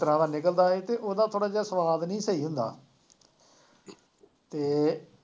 ਇਸ ਤਰ੍ਹਾਂ ਦਾ ਨਿਕਲਦਾ ਸੀ ਅਤੇ ਉਹਦਾ ਥੋੜ੍ਹਾ ਜਿਹਾ ਸੁਆਦ ਨਹੀਂ ਸਹੀ ਹੁੰਦਾ ਅਤੇ